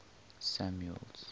samuel's